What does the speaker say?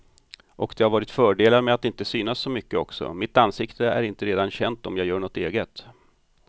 Och det har varit fördelar med att inte synas så mycket också, mitt ansikte är inte redan känt om jag gör något eget.